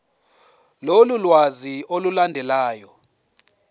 lolu lwazi olulandelayo